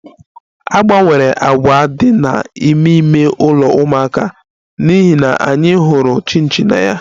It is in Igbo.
A gbanwere àkwà dị n'ime ime ụlọ ụmụaka n'ihi na anyị hụrụ chinchi na ya